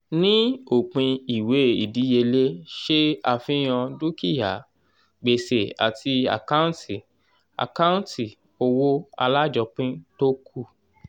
ní òpin ìwé ìdíyelé ṣe àfihàn dúkìá gbèsè àti àkâǹtì àkâǹtì owó alájọpín tó kù.